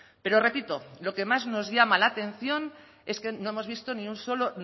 pero repito lo que más nos llama la atención es que no hemos visto ni un solo